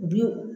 U bi wo